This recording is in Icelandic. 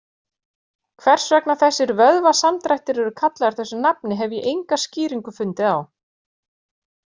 Hvers vegna þessir vöðvasamdrættir eru kallaðir þessu nafni hef ég enga skýringu fundið á.